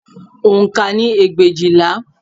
Oǹkà ni ẹgbẹ̀éjìlá